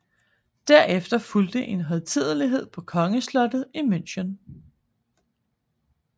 Derefter fulgte en højtidelighed på kongeslottet i München